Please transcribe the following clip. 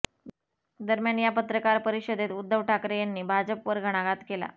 दरम्यान या पत्रकार परिषदेत उद्धव ठाकरे यांनी भाजपवर घणाघात केला